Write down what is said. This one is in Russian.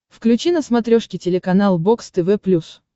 включи на смотрешке телеканал бокс тв плюс